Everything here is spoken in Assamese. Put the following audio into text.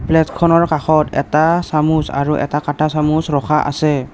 প্লেটখনৰ কাষত এটা চামুচ আৰু এটা কাটা চামুচ ৰখা আছে।